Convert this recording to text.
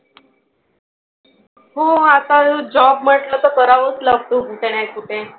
हो आता तो job म्हंटलं तर करावाच लागतो कुठे ना कुठे.